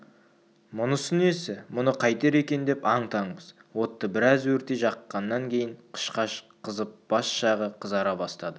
мұнысы несі мұны қайтер екен деп аң-таңбыз отты біраз өртей жаққаннан кейін қышқаш қызып бас жағы қызара бастады